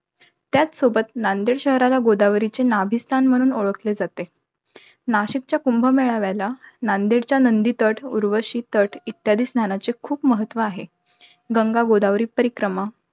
त्यासोबत नांदेड शहराला गोदावरीचे नाभिस्थान म्हणून ओळखले जाते. नाशिकच्या कुंभमेळाव्याला नांदेडच्या नंदी तट, उर्वशी तट इत्यादी स्नानाचे खूप महत्व आहे. गंगा गोदावरी परिक्रमा,